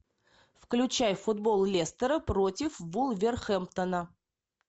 включай футбол лестера против вулверхэмптона